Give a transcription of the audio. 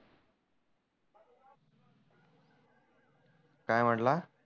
काय म्हटला?